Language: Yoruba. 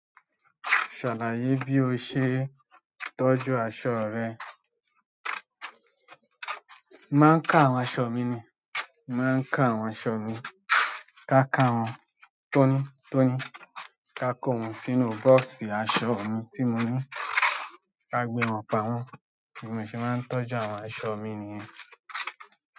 Ṣàlàyé bí o ṣe ń tọ́jú aṣọ rẹ. Máa ń ká àwọn aṣọ mi ni. Màá ń káwọn aṣọ mi, ká ká wọn tónítóní, ká kó wọn sínú bọ́ọ́sì aṣọ mi tí mo ní, ká gbé wọn pamọ́. Bi mo se máa ń tọ́jú àwọn aṣọ mi niyen.